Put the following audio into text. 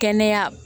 Kɛnɛya